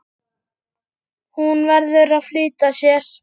Hún verður að flýta sér.